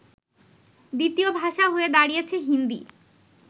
দ্বিতীয় ভাষা হয়ে দাড়িয়েছে হিন্দী